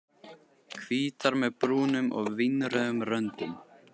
Hvítar með brúnum og vínrauðum röndum.